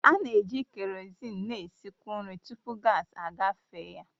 A na-eji kerozin na-esikwu nri tupu gaasi agafe ya.